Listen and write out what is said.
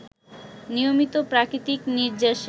নিয়মিত প্রাকৃতিক নির্যাসে